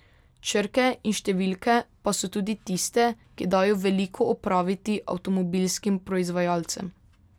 Črke in številke pa so tudi tiste, ki dajo veliko opraviti avtomobilskim proizvajalcem.